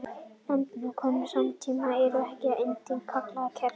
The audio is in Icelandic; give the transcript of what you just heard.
efnalitlar konur samtímans eru ekki endilega kallaðar kerlingar